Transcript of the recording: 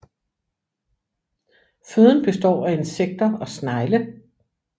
Føden består af insekter og snegle